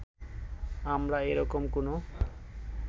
আমরা এ রকম কোনো